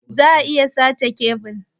Za'a iya sace kebil.